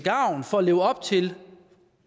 at leve op til